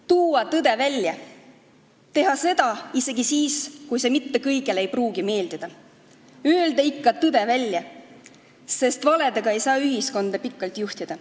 Tuua tõde välja, teha seda isegi siis, kui see mitte kõigile ei pruugi meeldida, öelda ikka tõde välja, sest valedega ei saa ühiskonda pikalt juhtida.